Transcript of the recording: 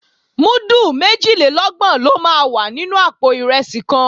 Múdù méjìlélọ́gbọ̀n ló máa wà nínú àpò ìrẹsì kan